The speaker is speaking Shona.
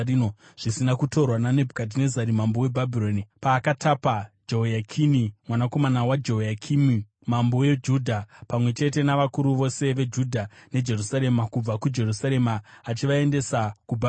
zvisina kutorwa naNebhukadhinezari mambo weBhabhironi paakatapa Jehoyakini, mwanakomana waJehoyakimi mambo weJudha, pamwe chete navakuru vose veJudha neJerusarema, kubva kuJerusarema achivaendesa kuBhabhironi.